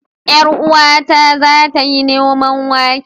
Yar uwata za ta yi noman wake.